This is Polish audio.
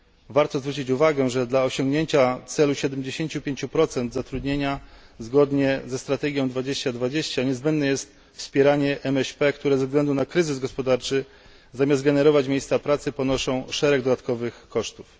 Warto zwrócić uwagę, że dla osiągnięcia celu 75 zatrudnienia, zgodnie ze strategią 2020, niezbędne jest wspieranie MŚP, które ze względu na kryzys gospodarczy zamiast generować miejsca pracy ponoszą szereg dodatkowych kosztów.